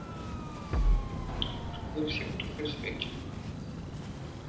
в вагоне он никому не был нужен все утопли в своих телефонах